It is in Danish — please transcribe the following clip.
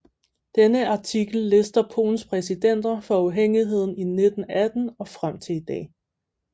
Denne artikel lister Polens præsidenter fra uafhængigheden i 1918 og frem til i dag